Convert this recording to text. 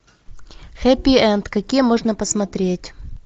хэппи энд какие можно посмотреть